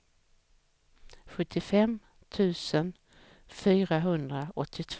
sjuttiofem tusen fyrahundraåttiotvå